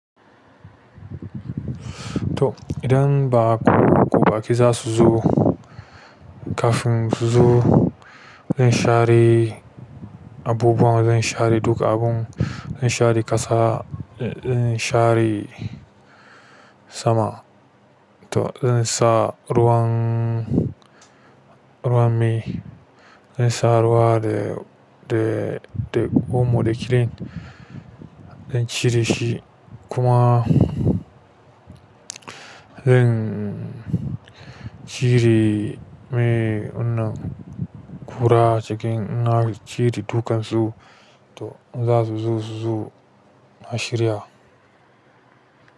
To idan baku ku baƙi zasu zo kafin su zo, zan share abubuwa, zan share duk abun, zan share ƙasa, zan share sama. To zan sa ruwan, ruwan mai, zan sa ruwa da, da, da omo da klin. Zan cire shi kuma zan cire mai wannan ƙura cikin ina cire dukansu. To in zasu zo su zo, na shirya.